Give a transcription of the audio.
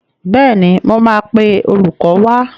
Bẹ́ẹ̀ni, mo máa pe olùkọ́ wá.